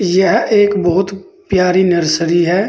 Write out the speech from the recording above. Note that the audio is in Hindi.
यह एक बहुत प्यारी नर्सरी है।